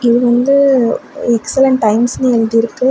இது வந்து எக்ஸலண்ட் டைம்ஸ்னு எழுதிருக்கு.